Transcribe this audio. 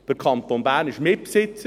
Der Kanton Bern ist Mitbesitzer.